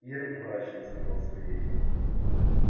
ир мрачно сказал сергей